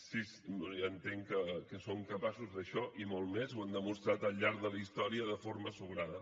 sí ja entenc que són capaços d’això i molt més ho han demostrat al llarg de la història de forma sobrada